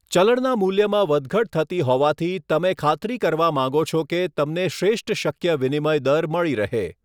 ચલણના મૂલ્યમાં વધઘટ થતી હોવાથી, તમે ખાતરી કરવા માગો છો કે તમને શ્રેષ્ઠ શક્ય વિનિમય દર મળી રહે.